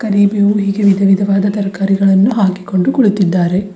ಹೀಗೆ ವಿಧವಿದವಾದ ತರಕಾರಿಗಳನ್ನು ಹಾಕಿಕೊಂಡು ಕೂಳಿತ್ತಿದ್ದಾರೆ.